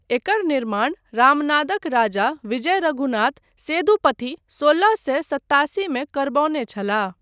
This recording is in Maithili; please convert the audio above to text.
एकर निर्माण रामनादक राजा विजय रघुनाथ सेठुपथी सोलह सए सत्तासीमे करबौने छलाह।